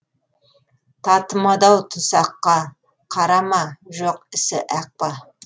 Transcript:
татымады ау тұсаққа қара ма жоқ ісі ақ па